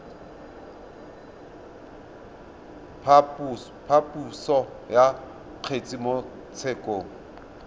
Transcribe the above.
phaposo ya kgetse mo tshekong